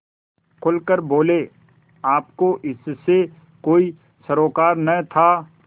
खुल कर बोलेआपको इससे कोई सरोकार न था